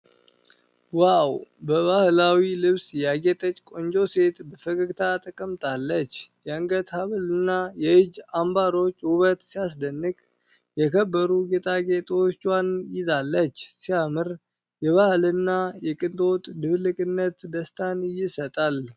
ዋው! ባህላዊ ልብስ ያጌጠች ቆንጆ ሴት በፈገግታ ተቀምጣለች። የአንገት ሐብልና የእጅ አምባሮች ውበት ሲያስደንቅ! የከበሩ ጌጣጌጦቿን ይዛለች። ሲያምር! የባህልና የቅንጦት ድብልቅነት ደስታን ይሰጣል።